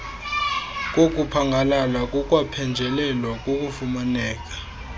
kokuphangalala kukwaphenjelelwa kukufumaneka